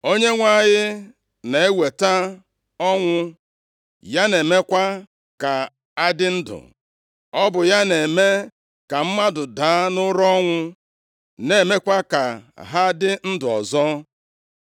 “ Onyenwe anyị na-eweta ọnwụ, ya na-emekwa ka a dị ndụ, ọ bụ ya na-eme ka mmadụ daa nʼụra ọnwụ, na-emekwa ka ha dị ndụ ọzọ.